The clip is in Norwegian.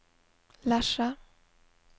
Lesja